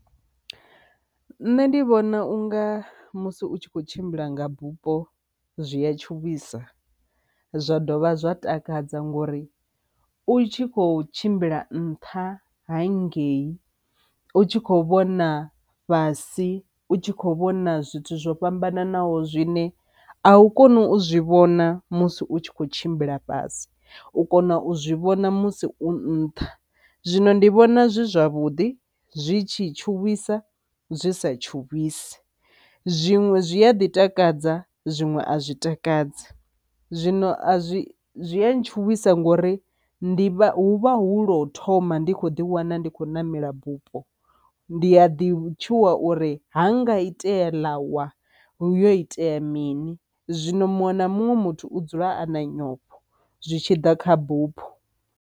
Nṋe ndi vhona unga musi u tshi kho tshimbila nga bupho zwi a tshuwisa zwa dovha zwa takadza ngori u tshi kho tshimbila nṱha ha ngei u tshi kho vhona fhasi u tshi kho vhona zwithu zwo fhambananaho zwine a u koni u zwi vhona musi u tshi kho tshimbila fhasi u kona u zwi vhona musi u nṱha. Zwino ndi vhona zwi zwavhuḓi zwi tshi tshuwisa zwi sa tshuwisi, zwiṅwe zwi a ḓi takadza zwiṅwe a zwi takadzi, zwino a zwi a zwi a tshuwisa ngori ndi vha hu vha hu lwo thoma ndi kho ḓi wana ndi khou namela bupho, ndi a ḓi tshuwa uri ha nga itea ḽa wa hu yo itea mini. Zwino muṅwe na muṅwe muthu u dzula a na nyofho zwi tshi ḓa kha bupho.